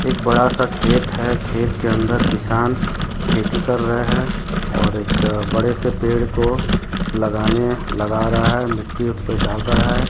एक बड़ा सा खेत है खेत के अंदर किसान खेती कर रहे हैं और एक बड़े से पेड़ को लगाने लगा रहे हैं मिट्टी उसपे डाल रहा हैं।